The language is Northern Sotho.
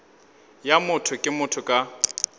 ya motho ke motho ka